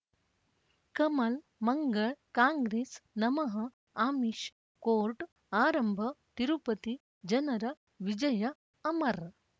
ಕಮಲ್ ಮಂಗಳ್ ಕಾಂಗ್ರೆಸ್ ನಮಃ ಅಮಿಷ್ ಕೋರ್ಟ್ ಆರಂಭ ತಿರುಪತಿ ಜನರ ವಿಜಯ ಅಮರ್